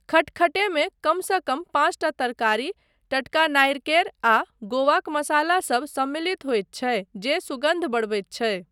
खटखटेमे कमसँ कम पाँचटा तरकारी, टटका नारिकेर आ गोवाक मसालासब सम्मिलित होइत छै जे सुगन्ध बढ़बैत छै।